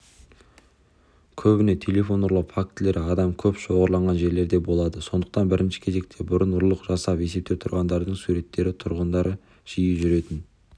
көбіне телефон ұрлау фактілері адам көп шоғырланған жерлерде болады сондықтан бірінші кезекте бұрын ұрлық жасап есепте тұрғандардың суреттері тұрғындар жиі жүретін